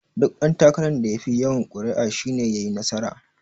Duk ɗan takaran da yafi yawan kuri'u shi ne yayi nasara.